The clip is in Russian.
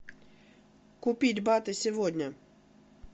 купить баты сегодня